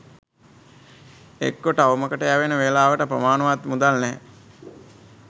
එක්කෝ ටවුමකට යැවෙන වෙලාවට ප්‍රමාණවත් මුදල් නැහැ